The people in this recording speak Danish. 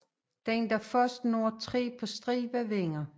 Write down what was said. Den der først når tre på stribe vinder